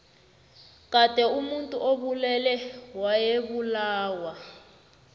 kade omuntu obulele wayebulawa